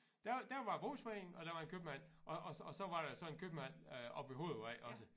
Der der var brugsforening og der var en købmand og og og så var der så en købmand øh oppe ved hovedvej også